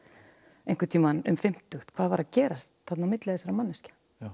einhvern tímann um fimmtugt hvað var að gerast á milli þessara manneskja